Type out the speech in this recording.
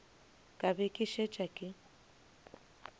ka be ke šetše ke